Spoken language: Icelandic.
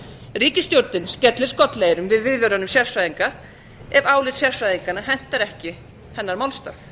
ríkisstjórnin skellir skollaeyrum við viðvörunum sérfræðinga ef álit sérfræðinganna hentar ekki hennar málstað